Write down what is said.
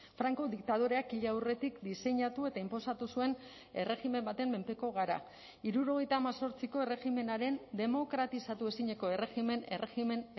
franco diktadoreak hil aurretik diseinatu eta inposatu zuen erregimen baten menpeko gara hirurogeita hemezortziko erregimenaren demokratizatu ezineko erregimen erregimen